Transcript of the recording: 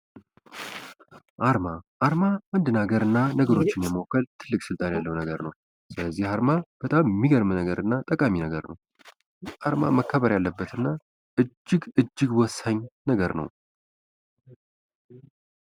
አርማ አንድ ነገሮችን ለማወከል ትልቅ ስልጣን ያለው ነገር ነው ስለዚህ አርማ በጣም የሚገርም ነገር እና መከበር ያለበት እጅግ እጅግ ወሳኝ ነው።